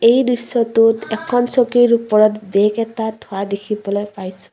এই দৃশ্যটোত এখন চকীৰ ওপৰত বেগ এটা থোৱা দেখিবলৈ পাইছোঁ।